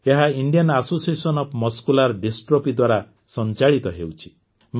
ଏହା Indian association of muscular dystrophy ଦ୍ୱାରା ସଂଚାଳିତ ହେଉଛି